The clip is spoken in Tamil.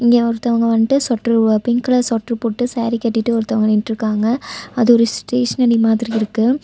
இங்கே ஒருத்தவங்க வண்டு ஸ்ஸொட்ரு பிங்க் கலர் ஸ்ஸொட்ரு போட்டு சேரி கட்டிட்டு ஒருத்தவங்க நின்ட்ருக்காங்க. அது ஒரு ஸ்டேஷ்னரி மாதிரி இருக்கு.